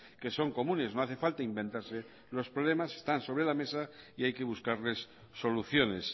que son comunes no hace falta inventarse los problemas están sobre la mesa y hay que buscarles soluciones